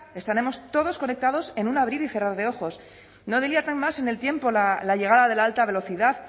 estaremos todos conectados en un abrir y cerrar de ojos no dilaten más en el tiempo la llegada de la alta velocidad